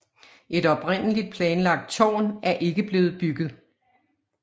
Et oprindelig planlagt tårn er ikke blevet bygget